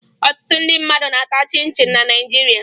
Ọtụtụ ndị mmadụ na-ata chịn chịn na Naịjirịa